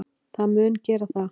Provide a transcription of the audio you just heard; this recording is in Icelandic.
Það mun gera það.